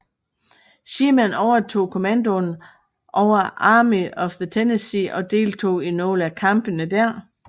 Sherman overtog kommandoen over Army of the Tennessee og deltog i nogle af kampene dér